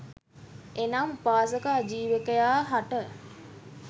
එනම් උපක ආජීවකයා හට